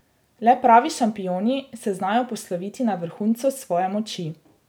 Le pravi šampioni se znajo posloviti na vrhuncu svoje moči.